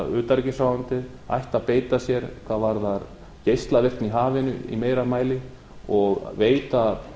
íslenska utanríkisráðuneytið ættu að beita sér hvað varðar geislavirkni í hafinu í meira mæli og veita